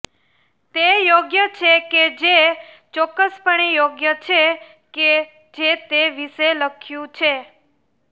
તે યોગ્ય છે કે જે ચોક્કસપણે યોગ્ય છે કે જે તે વિશે લખ્યું છે